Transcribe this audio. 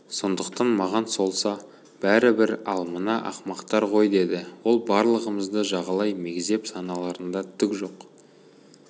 сондықтан маған солса бәрібір ал мына ақымақтар ғой деді ол барлығымызды жағалай мегзеп саналарында түк жоқ